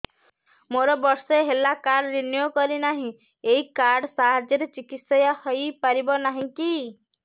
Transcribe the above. ମୋର ବର୍ଷେ ହେଲା କାର୍ଡ ରିନିଓ କରିନାହିଁ ଏହି କାର୍ଡ ସାହାଯ୍ୟରେ ଚିକିସୟା ହୈ ପାରିବନାହିଁ କି